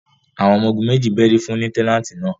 àwọn ọmọ-ogun meji bẹri fun Lutenanti náa